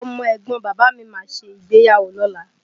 Ọmọ ẹ̀gbọ́n Bàbà mí máa ṣe ìgbéyàwó lọ́la